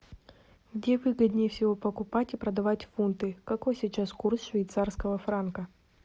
где выгоднее всего покупать и продавать фунты какой сейчас курс швейцарского франка